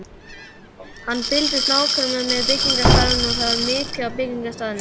Hann fylgdist nákvæmlega með byggingarstarfinu og var mikið á byggingarstaðnum.